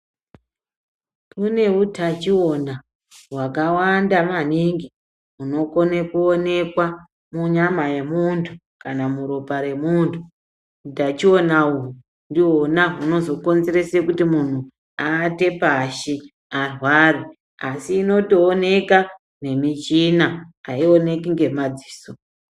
Kune utachiona hwakawanda maningi hunokone kuonekwa munyama yemuntu kana muropa remuntu . Utachiona uhu ndihona hunozokonzerese kuti muntu aate pashi muntu arwara asi inotooneka ngemichina, ayioneki ngemadziso.